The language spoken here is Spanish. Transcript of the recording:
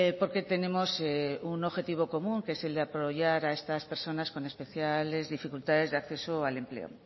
porque tenemos un objetivo común que es el de apoyar a estas personas con especiales dificultades de acceso al empleo